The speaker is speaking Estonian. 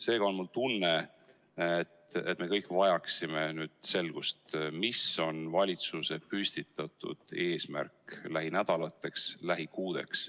Seega on mul tunne, et me kõik vajaksime selgust, mis on valitsuse püstitatud eesmärk lähinädalateks, lähikuudeks.